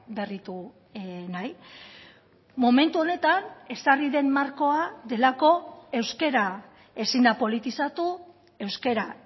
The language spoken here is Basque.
berritu nahi momentu honetan ezarri den markoa delako euskara ezin da politizatu euskara